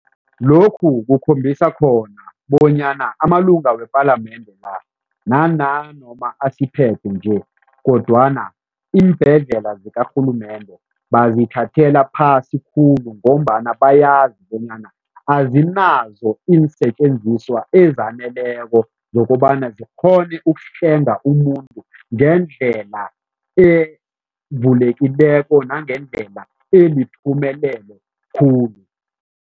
Lokhu kukhombisa khona bonyana amalunga wepalamende la nanoma asiphethe nje kodwana iimbhedlela zikarhulumende bazithathela phasi khulu ngombana bayazi bonyana azinazo iinsetjenziswa ezaneleko zokobana zikghone ukuhlenga umuntu ngendlela nangendlela eyiphumelelo khulu.